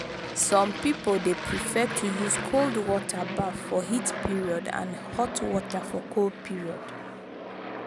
some pipo de prefere to use cold water baff for heat period and hot water for cold period